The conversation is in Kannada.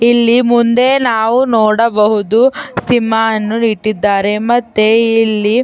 ಇಲ್ಲಿ ಮುಂದೆ ನಾವು ನೋಡಬಹುದು ಸಿಂಹ ಅನ್ನು ಇಟ್ಟಿದ್ದಾರೆ ಮತ್ತೆ ಇಲ್ಲಿ --